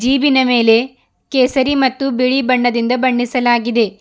ಜಿಪಿನ ಮೇಲೆ ಕೇಸರಿ ಮತ್ತು ಬಿಳಿ ಬಣ್ಣದಿಂದ ಬಣ್ಣಿಸಲಾಗಿದೆ.